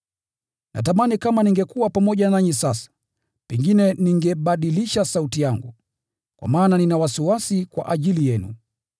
Natamani kama ningekuwa pamoja nanyi sasa, pengine ningebadilisha sauti yangu. Kwa maana nina wasiwasi kwa ajili yenu.